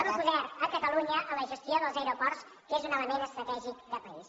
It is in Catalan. en poder catalunya en la gestió dels aeroports que és un element estratègic de país